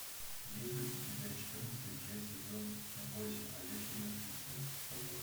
есть ли у тебя четырнадцатая часть сезона восемь ходячие мертвецы вопрос